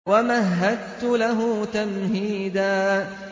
وَمَهَّدتُّ لَهُ تَمْهِيدًا